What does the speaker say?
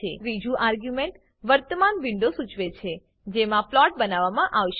ત્રીજી આર્ગ્યુમેન્ટ વર્તમાન વિન્ડો સૂચવે છે જેમાં પ્લોટ બનાવવામાં આવશે